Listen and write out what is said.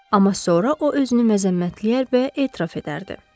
Amma sonra o özünü məzəmmətləyər və etiraf edərdi.